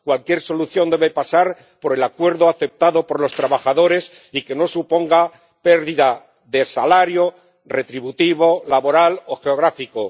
cualquier solución debe pasar por el acuerdo aceptado por los trabajadores y no debe suponer una pérdida de salario retributivo, laboral o geográfico.